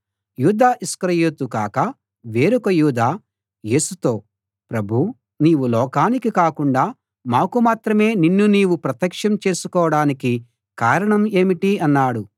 యూదా ఇస్కరియోతు కాక వేరొక యూదా యేసుతో ప్రభూ నీవు లోకానికి కాకుండా మాకు మాత్రమే నిన్ను నీవు ప్రత్యక్షం చేసుకోడానికి కారణం ఏమిటి అన్నాడు